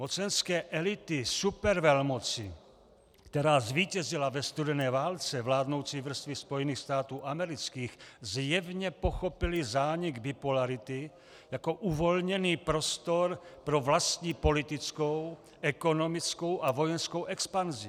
Mocenské elity supervelmoci, která zvítězila ve studené válce, vládnoucí vrstvy Spojených států amerických, zjevně pochopily zánik bipolarity jako uvolněný prostor pro vlastní politickou, ekonomickou a vojenskou expanzi.